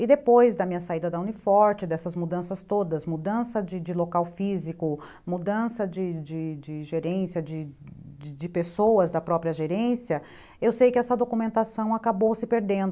E depois da minha saída da Uni Forte, dessas mudanças todas, mudança de de local físico, mudança de de gerência, de de pessoas da própria gerência, eu sei que essa documentação acabou se perdendo.